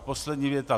Poslední věta.